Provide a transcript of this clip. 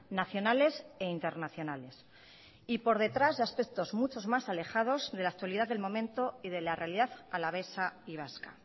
nacionales e internacionales y por detrás de aspectos muchos más alejados de la actualidad del momento y de la realidad alavesa y vasca